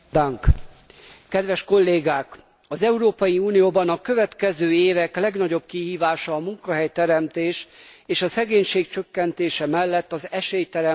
Az Európai Unióban a következő évek legnagyobb kihívása a munkahelyteremtés és a szegénység csökkentése mellett az esélyteremtés az európai fiataloknak.